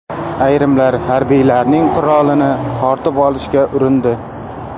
Ayrimlar harbiylarning qurolini tortib olishga urindi.